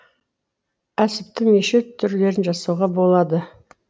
әсіптің неше түрлерін жасауға болады